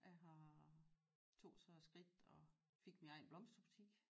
Jeg har tog så et skridt og fik min egen blomsterbutik